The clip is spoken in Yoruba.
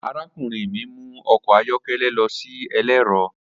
Arakunrin mi mu ọkọ ayọkẹlẹ lọ si ẹlẹrọ.